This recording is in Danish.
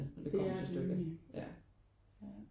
Det er det nemlig ja